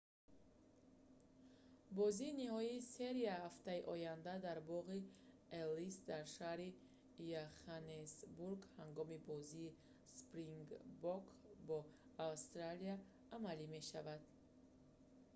бозии ниҳоии серия ҳафтаи оянда дар боғи эллис дар шаҳри йоханнесбург ҳангоми бозии спрингбок бо австралия амалӣ мешавад